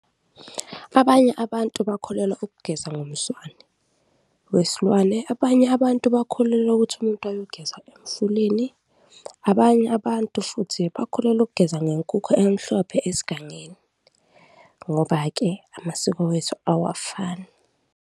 Abanye abantu bakholelwa ukugeza ngomswane wesilwane, abanye abantu bakholelwa ukuthi umuntu ayogeza emfuleni, abanye abantu futhi bakholelwa ukugeza ngenkukhu emhlophe esigangeni ngoba-ke amasiko wethu awafani.